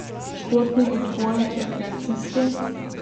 Športni odboj, rekreacijski?